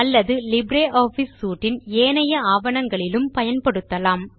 அல்லது LibreOffice suite இன் ஏனைய ஆவணங்களிலும் பயன்படுத்தலாம்